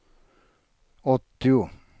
åttio